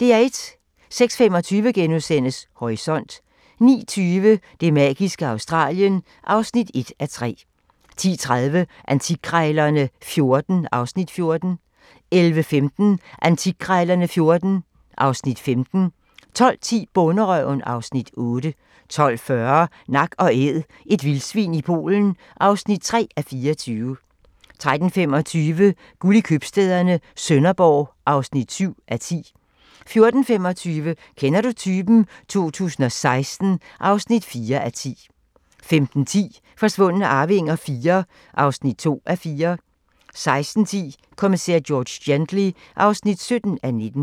06:25: Horisont * 09:20: Det magiske Australien (1:3) 10:30: Antikkrejlerne XIV (Afs. 14) 11:15: Antikkrejlerne XIV (Afs. 15) 12:10: Bonderøven (Afs. 8) 12:40: Nak & Æd – et vildsvin i Polen (3:24) 13:25: Guld i købstæderne - Sønderborg (7:10) 14:25: Kender du typen? 2016 (4:10) 15:10: Forsvundne arvinger IV (2:4) 16:10: Kommissær George Gently (17:19)